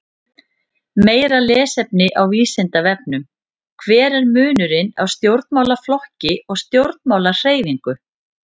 Meira lesefni á Vísindavefnum: Hver er munurinn á stjórnmálaflokki og stjórnmálahreyfingu?